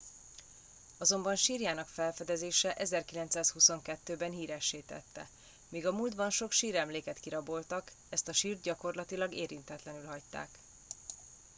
azonban sírjának felfedezése 1922 ben híressé tette míg a múltban sok síremléket kiraboltak ezt a sírt gyakorlatilag érintetlenül hagyták